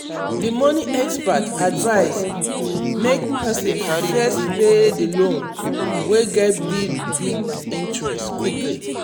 the money expert advise make person first pay the loans wey get big big interest quickly.